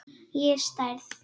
Ég er særð.